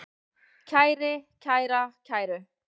kæri, kæra, kæru